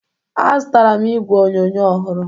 Azụtara m igwe onyonyo ọhụrụ